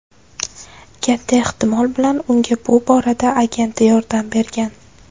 Katta ehtimol bilan unga bu borada agenti yordam bergan.